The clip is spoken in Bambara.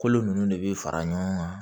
Kolo ninnu de bɛ fara ɲɔgɔn kan